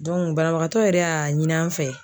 banabagatɔ yɛrɛ y'a ɲini an fɛ.